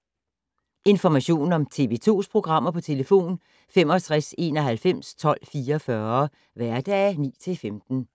Information om TV 2's programmer: 65 91 12 44, hverdage 9-15.